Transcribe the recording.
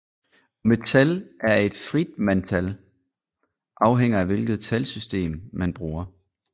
Om et tal er et Friedmantal afhænger af hvilket talsystem man bruger